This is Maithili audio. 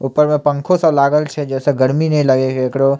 ऊपर में पंखो सब लागल छै जे से गर्मी ने लागे केकरो --